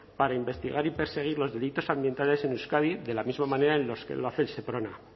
para investigar y perseguir los delitos ambientales en euskadi de la misma manera en los que lo hace el seprona